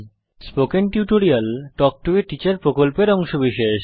spoken tutorial talk to a teacher প্রকল্পের অংশবিশেষ